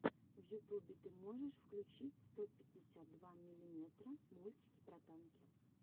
в ютубе ты можешь включить сто пятьдесят два миллиметра мультики про танки